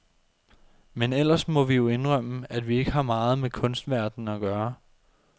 Men ellers må vi jo indrømme, at vi ikke har meget med kunstverdenen at gøre.